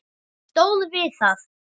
Stóð við það.